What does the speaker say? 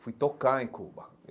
Fui tocar em Cuba.